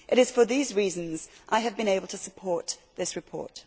It is for these reasons that I have been able to support this report.